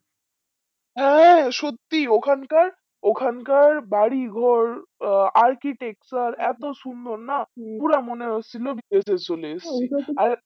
হ্যাঁ সত্যি ওখানকার ওখানকার বারি ঘর আহ architecture এত সুন্দরনা পুর মনে হচ্ছিল বিদেশ চলে এসেছি আর